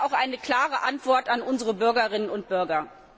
Das ist auch eine klare Antwort an unsere Bürgerinnen und Bürger.